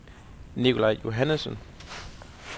Nikolaj Johannessen